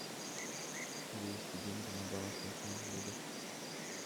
перевести деньги на баланс телефона друга